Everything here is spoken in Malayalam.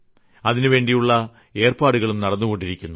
അതിനുവേണ്ടിയുള്ള ഏർപ്പാടുകളും നടന്നുകൊണ്ടിരിക്കുന്നു